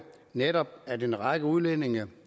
netop er at en række udlændinge